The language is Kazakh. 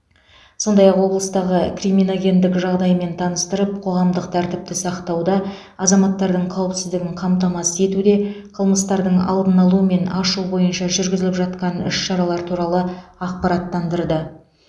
сондай ақ облыстағы криминогендік жағдаймен таныстырып қоғамдық тәртіпті сақтауда азаматтардың қауіпсіздігін қамтамасыз етуде қылмыстарды алдын алу мен ашу бойынша жүргізіліп жатқан іс шаралар туралы ақпараттандырды